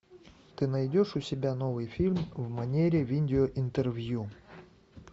ты найдешь у себя новый фильм в манере видеоинтервью